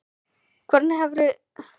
Hvernig hefði þér litist á það?